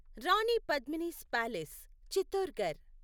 Rani Padmini's palace Chittorgarh